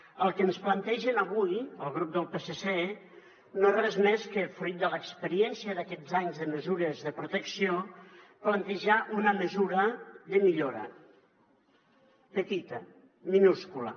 el que ens plantegen avui el grup del psc no és res més que fruit de l’experiència d’aquests anys de mesures de protecció plantejar una mesura de millora petita minúscula